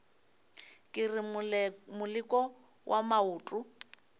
ke re moleko wa maoto